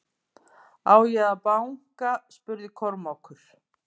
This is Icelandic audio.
Á ég að banka spurði Kormákur.